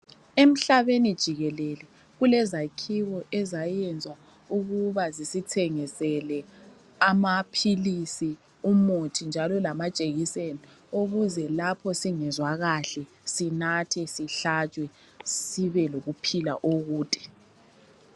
Emhlabeni jikelele kulezakhiwo ezayenzwa ukuba zisithengisele amaphilisi, umuthi njalo lamajekiseni ukuze lapho singezwa kahle sinathe sihlatshwe sibe lokuphila okude.